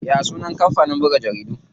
Ya sunan kampanin buga jaridu?